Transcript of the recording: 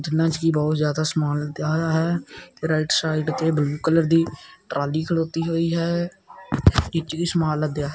ਇਹਨਾ ਵਿੱਚ ਕੀ ਬਹੁਤ ਜਿਆਦਾ ਸਮਾਨ ਲੱਦਿਆ ਹੋਯਾ ਹੈ ਰਾਈਟ ਸਾਈਡ ਤੇ ਬਲੂ ਕਲਰ ਦੀ ਟਰਾਲੀ ਖਲੋਤੀ ਹੋਈ ਹੈ ਇਸ਼ਚ ਵੀ ਸਮਾਨ ਲਦਯਾ।